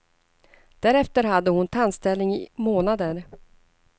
Därefter hade hon tandställning i månader.